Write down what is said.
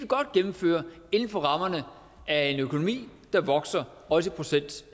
godt gennemføre inden for rammerne af en økonomi der vokser også i procent